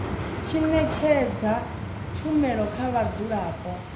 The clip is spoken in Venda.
tshi ṅetshedza tshumelo kha vhadzulapo